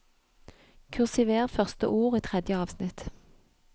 Kursiver første ord i tredje avsnitt